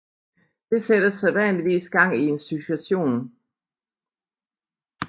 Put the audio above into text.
Det sætter sædvanligvis gang i en succession